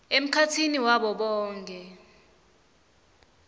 emkhatsini wabo bonkhe